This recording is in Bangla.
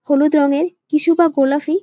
হলুদ রঙের কিছুটা গোলাপি ।